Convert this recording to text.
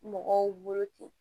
Mɔgɔw bolo ten